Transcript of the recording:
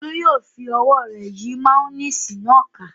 Olú yóò fi ọwọ́ rẹ̀ yí máyónísì náà ká.